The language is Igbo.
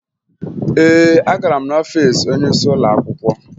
Ee, agara m n'ọfiisi onyeisi ụlọakwụkwọ